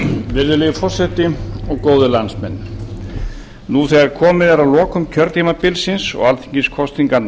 virðulegi forseti góðir landsmenn nú þegar komið er að lokum kjörtímabilsins og alþingiskosningarnar